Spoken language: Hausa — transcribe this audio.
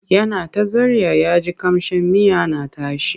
Yana ta zarya ya ji ƙamshin miya na tashi.